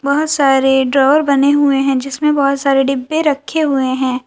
बहोत सारे ड्रॉवर बने हुए हैं जिसमें बहोत सारे डिब्बे रखे हुए हैं।